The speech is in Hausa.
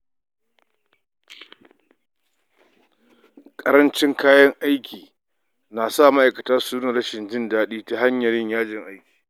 Ƙarancin kayan aiki na sa ma’aikata su nuna rashin jin daɗi ta hanyar yajin aiki.